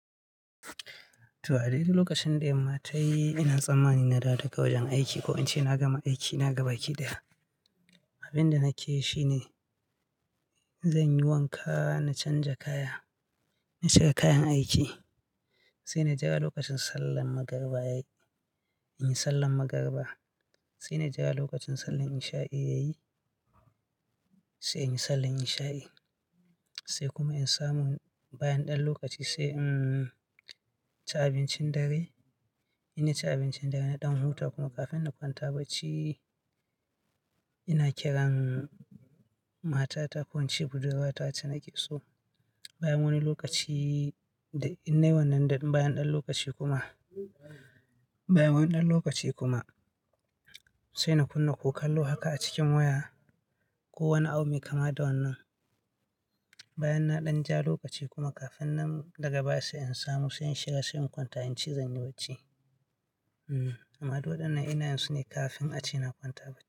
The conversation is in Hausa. To, a dai dai lokacin da yamma tayi ina tsammani na dawo daga wajen aiki ko in ce na gama aiki na gabaki da, abin da nake shi ne zan yi wanka na canja kaya, na cire kayan aiki. Sai na jira lokacin sallan magariba yayi, in yi sallan magariba. Sai na jira lokacin sallan isha'i yayi, sai in yi sallan isha'i. Sai kuma in samu bayan ɗan lokaci sai, umm, ci abincin dare. Ina ci abincin dare na ɗan huta kuma kafin na kwanta bacci ina kiran matata ko in ce budurwa ta wace nake so bayan wani lokaci, in nai wannan bayan ɗan lokaci kuma, bayan wani ɗan lokaci kuma sai na kunna ko kallo haka a cikin waya ko wani abu mai kama da wannan. Bayan na ɗan ja lokaci kuma kafin nan daga baya sai in samu, sai in shiga sai in kwanta in ci zanyi bacci. Amma duk wadannan ina yin su ne kafin a ci na kwanta bacci.